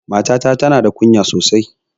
Matata ta na da kunya sosai